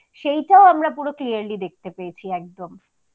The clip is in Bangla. সেইটাও আমরা পুরো clearly দেখতে পেয়েছি একদম